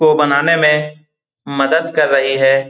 को बनाने में मदद कर रही है ।